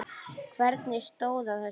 Hvernig stóð á þessu?